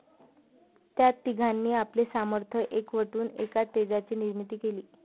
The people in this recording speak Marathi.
त्या तिघांनी आपले सामर्थ्य एकवटून एका तेजाची निर्मिती केली.